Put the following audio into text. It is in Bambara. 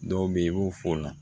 Dɔw bɛ yen i b'u fɔ o la